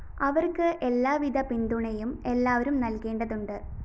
അവര്‍ക്ക് എല്ലാവിധ പിന്തുണയും എല്ലാവരും നല്‍കേണ്ടതുണ്ട്